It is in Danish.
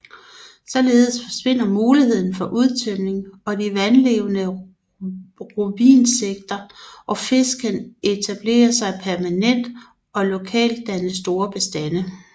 Således forsvinder muligheden for udtørring og de vandlevende rovinsekter og fisk kan etablere sig permanent og lokalt danne store bestande